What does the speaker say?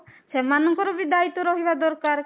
ସେମାନଙ୍କର ବି ଦାୟିତ୍ୱ ରହିବା ଦରକାର